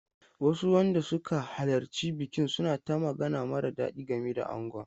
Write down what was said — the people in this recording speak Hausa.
Wasu wanda suka halarci bikin suna ta magana mara daɗi game da angon.